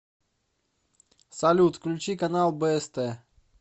салют включить канал бст